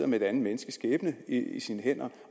et andet menneskes skæbne i sine hænder